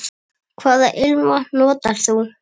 Hvaða ilmvatn notar þú?